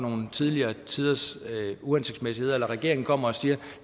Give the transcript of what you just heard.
tidligere tiders uhensigtsmæssigheder eller regeringen kommer og siger at